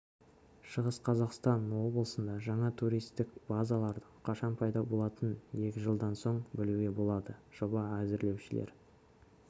шығыс қазақстан облысында жаңа туристік базалардың қашан пайда болатынын екі жылдан соң білуге болады жобаны әзірлеушілер